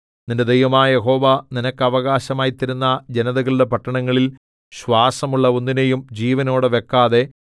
നിന്റെ ദൈവമായ യഹോവ നിനക്ക് അവകാശമായി തരുന്ന ജനതകളുടെ പട്ടണങ്ങളിൽ ശ്വാസമുള്ള ഒന്നിനെയും ജീവനോടെ വെക്കാതെ